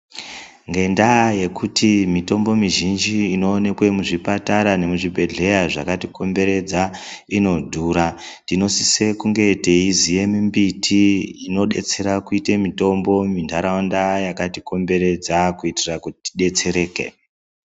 Ngendaa yekuti mitombo mizhinji inoonekwe muzvipatara nemuzvibhedhleya zvakatikomberedza inodhura, tinosise kunge teiziye mimbiti inodetsera kuite mitombo muntaraunda yakatikomberedza ,kuitira kuti tidetsereke.